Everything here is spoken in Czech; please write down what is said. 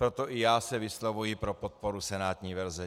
Proto i já se vyslovuji pro podporu senátní verze.